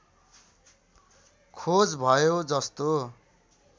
खोज भयो जस्तो